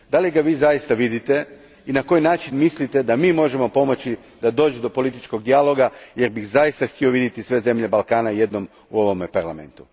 Vidite li ga zaista i na koji način mislite da mi možemo pomoći da dođe do političkog dijaloga jer bih zaista htio vidjeti sve zemlje Balkana u ovome Parlamentu?